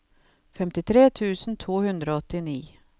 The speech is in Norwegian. femtitre tusen to hundre og åttini